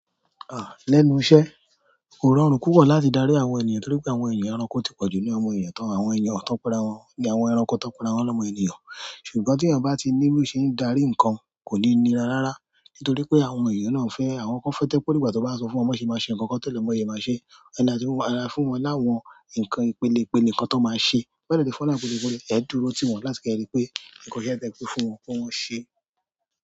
À, lẹ́nu iṣẹ́, kò rọrùn púpọ̀ láti darí àwọn ènìyàn torí pé àwọn ènìyàn ẹranko ti pọ̀jù nínú àwọn ènìyàn tán. Àwọn ènìyàn tọ́n pe ara wọn ni àwọn ẹranko to pe ara wọn lọ́mọ ènìyàn. Ṣùgbọ́n tí ẹyan bá ti ní bó ṣe ń darí ǹkan, kò ní nírarára. Nítorí pé àwọn ènìyàn náà fẹ́, àwọn kan fẹ́ẹ́ to je pe o dígbà tó bá sọ fún wọn, kì won to le máa bi won ṣe máa ṣe. Alẹ́ fún wọ́n láwọn ǹkan ìpelepele nkan tan máa ṣe. E dúró tiwon láti keripe, nkan iya yi te kofun won pe won se.